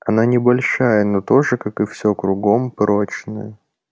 она небольшая но тоже как и всё кругом прочная